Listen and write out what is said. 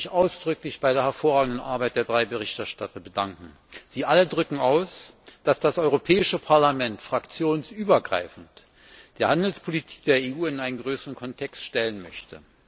Und ich möchte mich ausdrücklich für die hervorragende Arbeit der drei Berichterstatter bedanken. Sie alle drücken aus, dass das Europäische Parlament fraktionsübergreifend die Handelspolitik der EU in einen größeren Kontext stellen möchte.